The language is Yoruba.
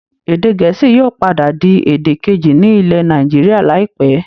Èdè gẹ̀ẹ́sì yóò padà di èdè kejì ní ilẹ̀ Nàìjíríà láìpẹ́